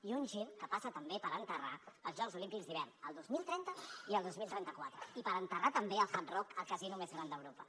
i un gir que passa també per enterrar els jocs olímpics d’hivern el dos mil trenta i el dos mil trenta quatre i per enterrar també el hard rock el casino més gran d’europa